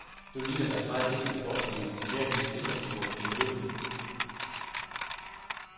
Nu ligner deres vej ind i voksenlivet mere en slentretur i medvind.